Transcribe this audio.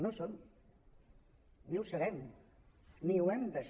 no en som ni ho serem ni ho hem de ser